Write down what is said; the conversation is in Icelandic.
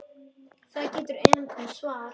Það getur enn komið svar!